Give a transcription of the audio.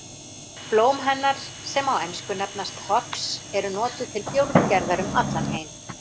Blóm hennar sem á ensku nefnast hops eru notuð til bjórgerðar um allan heim.